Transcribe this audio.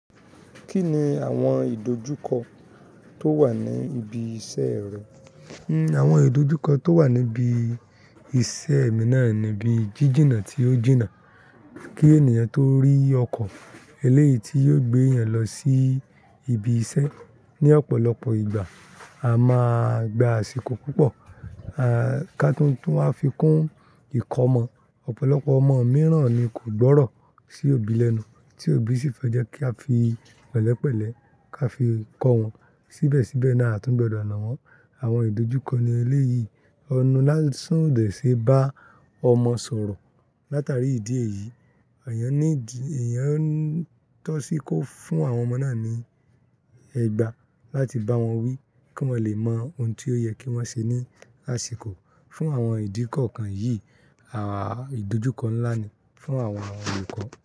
Kí ni àwọn ìdojúkọ tó wà ní ibi iṣẹ́ rẹ? Àwọn ìdojúkọ tó wà níbi iṣẹ́ mi ni jíjìnà tó jìnà kí ènìyàn tó rí ọkọ̀ eléyìí tí yóò gbé èèyàn lọ sí ibi iṣẹ́ ní ọ̀pọ̀lọpọ̀ ìgbà. A máa gba àsìkò púpọ̀, ká tó tún wá fi kún ìkọ́ mọ. Ọ̀pọ̀lọpọ̀ ọmọ mìíràn ni kò gbọ́rọ̀ sí òbí lẹ́nu, tí òbí sì fẹ́ jẹ́ kí a fi pẹ̀lẹ́pẹ̀lẹ́ ká fi kọ́ wọn. Síbẹ̀síbẹ̀ na a tún gbọdọ̀ na wọ́n. Àwọn ìdojúkọ ni eléyì ẹnu lásán ò dẹ̀ ṣe bá ọmọ sọ̀rọ̀. Látàrí ìdí èyí, èèyàn ń tọ́ sí i kó fún àwọn ọmọ náà ní ẹgbàá láti bá wọn wí kí wọ́n lè mọ ohun tí ó yẹ kí wọ́n ṣe ní àsìkò. Fún àwọn ìdí kan kan yìí, ìdojúkọ ńlá ni fún àwọn olùkọ́